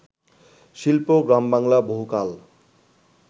শিল্প, গ্রামবাংলা বহুকাল